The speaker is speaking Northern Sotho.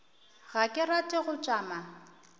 ga ke rate go tšama